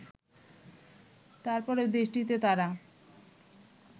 তারপরেও দেশটিতে তারা